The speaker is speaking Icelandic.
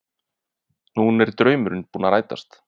Nú er draumurinn búinn að rætast